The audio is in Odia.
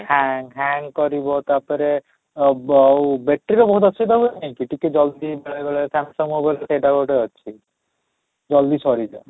hang hang କରିବ ତା'ପରେ ଆଃ ଆଉ battery ର ବହୁତ ଅସୁବିଧା ହୁଏ ନାହିଁ କି ଟିକେ ଜଲ୍ଦି ବେଳେବେଳେ Samsung mobile ସେଇଟା ଗୋଟେ ଅଛି ଜଲଦି ସରି ଯାଏ